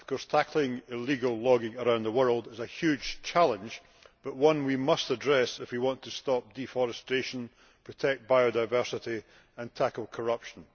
Tackling illegal logging around the world is a huge challenge but it is one we must address if we want to stop deforestation, protect biodiversity and tackle corruption.